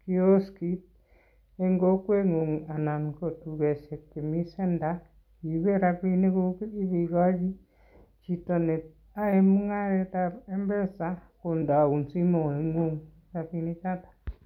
kioski en kokweng'ung' ana ko tugoshek chemi center iibe rapiniguk ibekoji jito neyoe mung'aretab Mpesa kondeun simoing'ung' rapinik choto